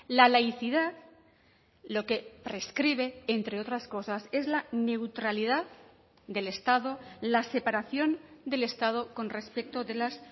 la laicidad lo que prescribe entre otras cosas es la neutralidad del estado la separación del estado con respecto de las